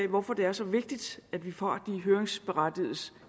hvorfor det er så vigtigt at vi får de høringsberettigedes